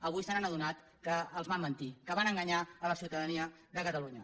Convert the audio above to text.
avui s’han adonat que els van mentir que van enganyar la ciutadania de catalunya